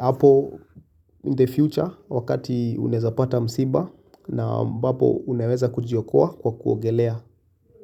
hapo in the future, wakati unaeza pata msiba, na ambapo unaweza kujiokoa kwa kuogelea.